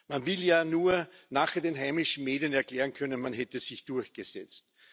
Man will ja nur nachher den heimischen Medien erklären können, man hätte sich durchgesetzt.